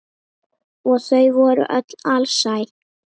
Og þau voru öll alsæl.